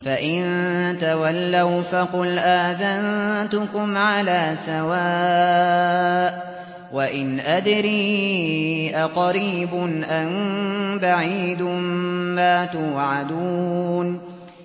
فَإِن تَوَلَّوْا فَقُلْ آذَنتُكُمْ عَلَىٰ سَوَاءٍ ۖ وَإِنْ أَدْرِي أَقَرِيبٌ أَم بَعِيدٌ مَّا تُوعَدُونَ